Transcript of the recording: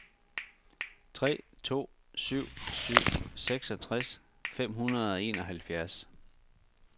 tre to syv syv seksogtres fem hundrede og enoghalvfjerds